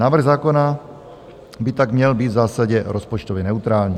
Návrh zákona by tak měl být v zásadě rozpočtově neutrální.